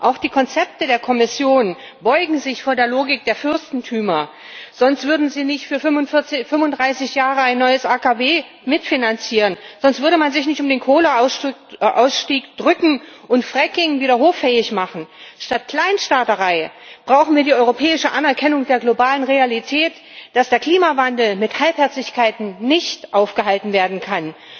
Auch die Konzepte der Kommission beugen sich vor der Logik der Fürstentümer, sonst würden sie nicht für 35 Jahre ein neues AKW mitfinanzieren, sonst würde man sich nicht um den Kohleausstieg drücken und Fracking wieder hoffähig machen. Statt Kleinstaaterei brauchen wir die europäische Anerkennung der globalen Realität, dass der Klimawandel mit Halbherzigkeiten nicht aufgehalten werden kann.